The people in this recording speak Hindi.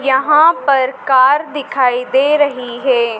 यहां पर कार दिखाई दे रही हैं।